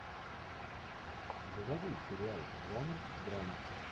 заводи сериал жанр драма